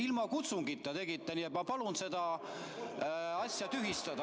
Ilma kutsungita tegite, nii et ma palun selle asja tühistada.